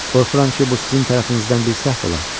Qorxuram ki, bu sizin tərəfinizdən bir səhv ola.